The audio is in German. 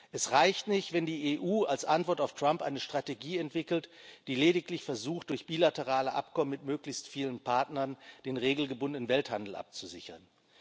Es reicht nicht, wenn die EU als Antwort auf Trump eine Strategie entwickelt, die lediglich versucht, durch bilaterale Abkommen mit möglichst vielen Partnern den regelgebundenen Welthandel abzusichern.